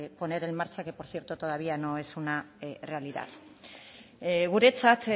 poner en marcha que por cierto todavía no es una realidad guretzat